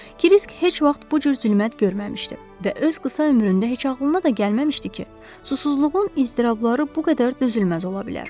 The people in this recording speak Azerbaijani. Krisk heç vaxt bu cür zülmət görməmişdi və öz qısa ömründə heç ağlına da gəlməmişdi ki, susuzluğun iztirabları bu qədər dözülməz ola bilər.